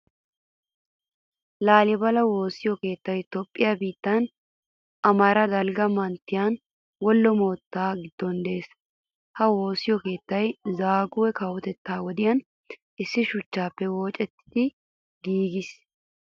Laalibalaa woossiyo keettay Toophphiyaa biittan, Amaaraa dalgga manttiyan, Wollo moottaa giddon de"ees. Ha woosa keettay Zaaguwe kawotettaa wodiyan issi shuchchaappe woocettidi giigiis.